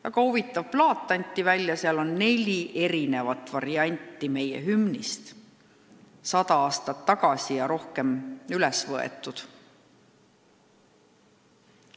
Väga huvitav plaat, seal on neli varianti meie hümnist, mis on salvestatud sada aastat või rohkem aega tagasi.